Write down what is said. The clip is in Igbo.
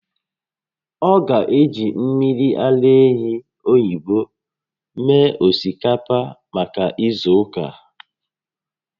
Ọ ga-eji mmiri ara ehi oyibo mee osikapa maka izu ụka